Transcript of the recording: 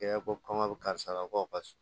Kɛ komi a bɛ karisa ka kɔ ka s